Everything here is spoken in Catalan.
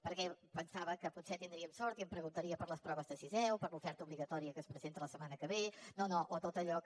perquè pensava que potser tindríem sort i em preguntaria per les proves de sisè o per l’oferta obligatòria que es presenta la setmana que ve o tot allò que